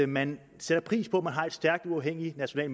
man sætter pris på at man har en stærk uafhængig national